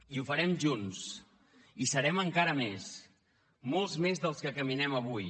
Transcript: i ho farem junts i serem encara més molts més dels que caminem avui